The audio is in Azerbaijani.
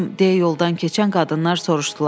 deyə yoldan keçən qadınlar soruşdular.